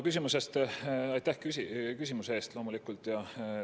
Aitäh küsimuse eest loomulikult!